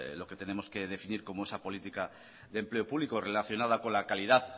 lo que tenemos que definir como esa política de empleo público relacionada con la calidad